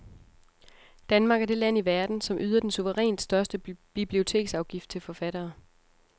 Danmark er det land i verden, som yder den suverænt største biblioteksafgift til forfattere.